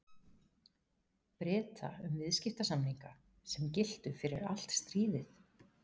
Breta um viðskiptasamninga, sem giltu fyrir allt stríðið.